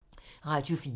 Radio 4